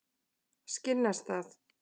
Skinnastað